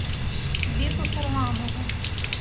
беку харламову